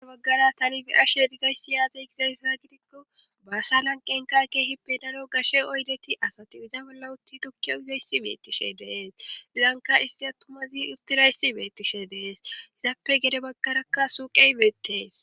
az baggara talifi ashe erizayssi yaazey gizayssa gidikko baassa lan qenka keehi benano gashe oydeti asate iza bolla utti tokki oyizayssi beettishe dees ilanka issi attumazi urtirayssi beettishe dees hizappe gede baggarakka suuqeybeettees